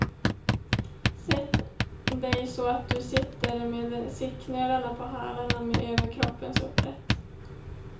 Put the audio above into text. Sätt dig så att du sitter med sittknölarna på hälarna med överkroppen upprätt.